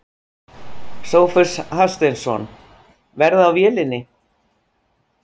Sófus Hafsteinsson: Verð á vélinni?